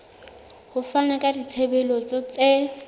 ho fana ka ditshebeletso tse